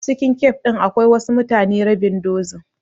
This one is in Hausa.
A cikin cafe din akwai wasu mutane rabin dozin.